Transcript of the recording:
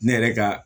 Ne yɛrɛ ka